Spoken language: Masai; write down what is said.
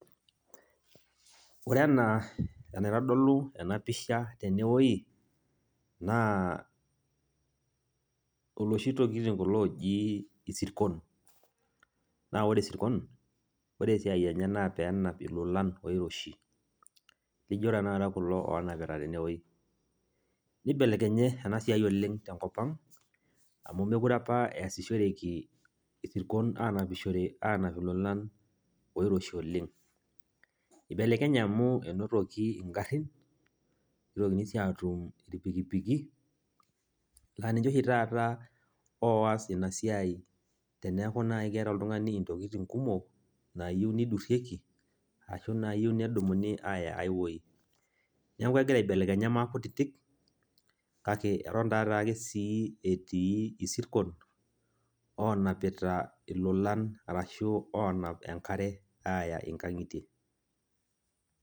Ore enaa enaitodolu enapisha tenewoi, naa oloshi tokiting kulo oji isirkon. Na ore isirkon, ore esiai enye, naa peenap ilolan oiroshi, nijo tanakata kulo onapita tenewei. Nibelekenye enasiai oleng tenkop ang, amu mekure apa easishoreki isirkon anapishore anap ilolan oiroshi oleng. Nibelekenye amu enotoki igarrin, nitokini si atum irpikipiki, na ninche oshi taata oas inasiai teneeku nai keeta oltung'ani intokiting kumok, nayieu nidurrieki ashu nayieu nedumuni aya ai woi. Neeku egira aibelekenya maakutitik, kake eton tataake si etii isirkon onapita ilolan arashu onap enkare, aya inkang'itie.